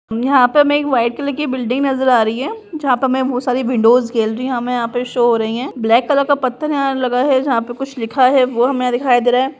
यहाँ पे हमे एक वाइट कलर की बिल्डिंग नजर आ रही है | जहाँ पे हमे बहुत सारी विंडोज गैलरी हमे यहाँ पे शो हो रही है | ब्लैक कलर का पथर यहाँ लगा है | जहाँ पे कुछ लिखा है वो हम यहाँ दिखाई दे रहा है |